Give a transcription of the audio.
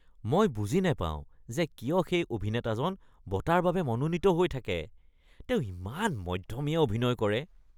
মই বুজি নাপাওঁ যে কিয় সেই অভিনেতাজন বঁটাৰ বাবে মনোনীত হৈ থাকে। তেওঁ ইমান মধ্যমীয়া অভিনয় কৰে।